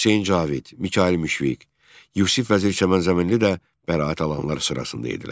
Hüseyn Cavid, Mikayıl Müşfiq, Yusif Vəzir Çəmənzəminli də bəraət alanlar sırasında idilər.